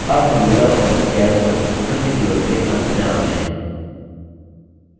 अब हम LibreOffice calc पर spoken tutorial के अंत में आ गये हैं